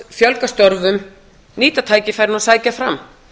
fjölga störfum nýta tækifærin og sækja fram